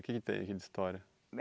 O que tem aqui de história?